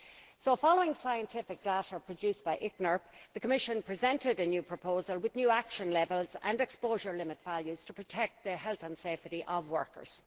So, following scientific data produced by ICNIRP, the Commission presented a new proposal with new action levels and exposure limit values to protect the health and safety of workers.